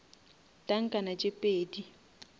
tankana tše pedi